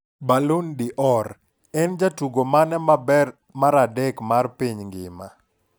Ballon d'Or: En jatugo mane maber mar adek mar piny ngima?